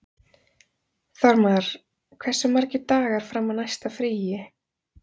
Þormar, hversu margir dagar fram að næsta fríi?